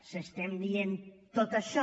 si estem dient tot això